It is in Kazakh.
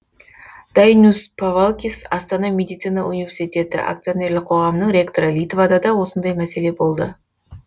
дайнюс павалькис астана медицина университеті акционерлік қоғамының ректоры литвада да осындай мәселе болды